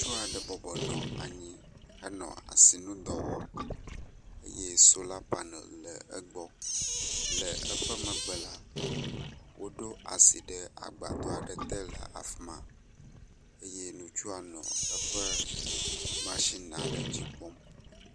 Ŋutsu aɖe bɔbɔ nɔ anyi henɔ asinudɔ wɔm eye sola panel le egbɔ. Le eƒe megbe la, woɖo asi ɖe agbadɔ aɖe te le afi ma eye ŋutsua nɔ eƒe masina ɖe dzi kpɔm.